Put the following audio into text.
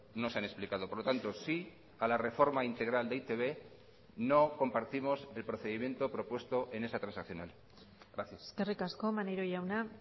no se han explicado por lo tanto sí a la reforma integral de e i te be no compartimos el procedimiento propuesto en esa transaccional gracias eskerrik asko maneiro jauna